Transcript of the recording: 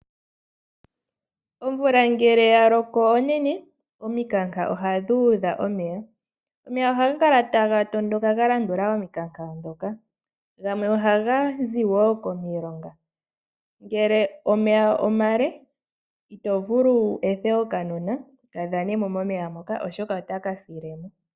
Omvula ngele yaloko onene omikanka ohadhi udha omeya. Omeya ohaga kala taga tondoka galandula omikanka dhoka, gamwe ohaga zi woo komilonga. Ngele omeya omale ito vulu wu ethe okanona kadhane mo, oshoka otaka sile mo.